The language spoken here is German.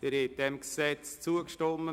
Schlussabstimmung (1. und einzige Lesung)